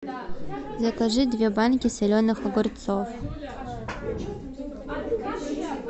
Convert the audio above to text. закажи две банки соленых огурцов